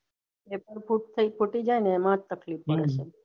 એટલું ખૂટ તય ખૂટી જાય એમાં તકલીફ પડે તય